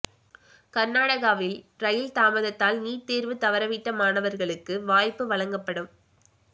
கர்நாடகாவில் ரயில் தாமதத்தால் நீட் தேர்வு தவறவிட்ட மாணவர்களுக்கு வாய்ப்பு வழங்கப்படும்